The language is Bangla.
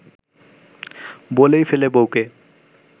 বলেই ফেলে বউকে